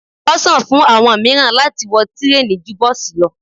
Ọ́sàn fún àwọn miran láti wọ tireni ju bọsi lọ